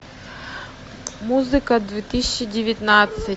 музыка две тысячи девятнадцать